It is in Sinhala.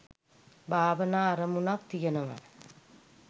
භාවනා අරමුණක් තියෙනවා